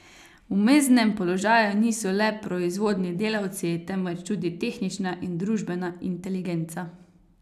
V mezdnem položaju niso le proizvodni delavci, temveč tudi tehnična in družbena inteligenca.